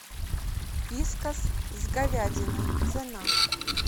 вискас с говядиной цена